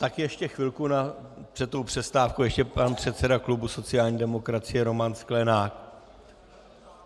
Takže ještě chvilku před tou přestávkou ještě pan předseda klubu sociální demokracie Roman Sklenák.